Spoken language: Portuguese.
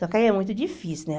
Só que aí é muito difícil, né?